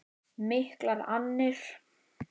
Miklar annir.